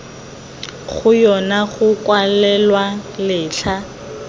go yona go kwalwang letlha